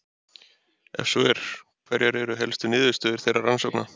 Ef svo er, hverjar eru helstu niðurstöður þeirra rannsókna?